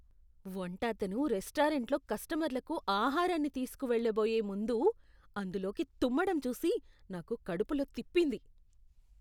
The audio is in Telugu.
వంట అతను రెస్టారెంట్లో కస్టమర్లకు ఆహారాన్నితీసుకు వెళ్లబోయే ముందు అందులోకి తుమ్మటం చూసి నాకు కడుపులో తిప్పింది.